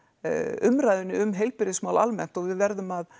umræðunni um heilbrigðismál almennt og við verðum að